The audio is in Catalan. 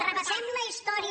repassem la història